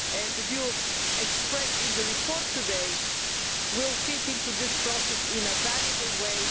The view expressed in the report today will fit into this process in a valuable way.